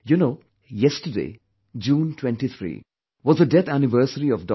You know, yesterdayjune 23, was the death anniversary of Dr